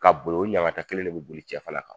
Ka boli o yankata kelen de bɛ boli cɛ kan!